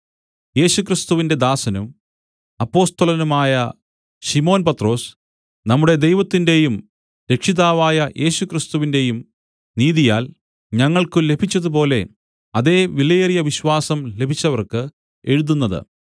യേശുക്രിസ്തുവിന്റെ ദാസനും അപ്പൊസ്തലനുമായ ശിമോൻ പത്രൊസ് നമ്മുടെ ദൈവത്തിന്റെയും രക്ഷിതാവായ യേശുക്രിസ്തുവിന്റെയും നീതിയാൽ ഞങ്ങൾക്കു ലഭിച്ചതുപോലെ അതേ വിലയേറിയ വിശ്വാസം ലഭിച്ചവർക്ക് എഴുതുന്നത്